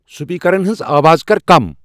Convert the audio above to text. سپیکرن ہٕنٛز آواز کر کم ۔